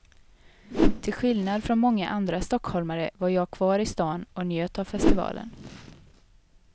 Till skillnad från många andra stockholmare var jag kvar i stan och njöt av festivalen.